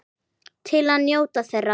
Til að njóta þeirra.